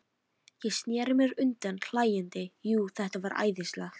Ég sneri mér undan hlæjandi, jú, þetta var æðislegt.